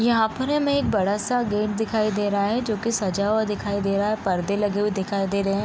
यहाँ पर हमें एक बड़ा सा गेट दिखाई दे रहा है जो की सजा हुआ दिखाई दे रहा है पर्दे लगे हुए दिखाई दे रहे हैं।